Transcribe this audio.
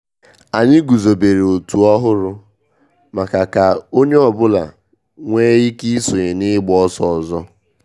Anyị guzobere òtù ọhụrụ maka ka onye ọ bụla nwee ike isonye na igba ọsọ ọzọ